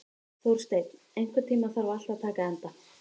Þórsteinn, einhvern tímann þarf allt að taka enda.